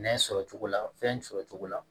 Nɛ sɔrɔ cogo la fɛn sɔrɔcogo la